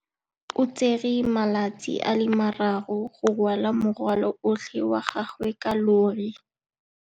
O tsere malatsi a le marraro go rwala morwalo otlhe wa gagwe ka llori.